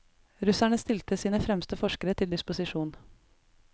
Russerne stilte sine fremste forskere til disposisjon.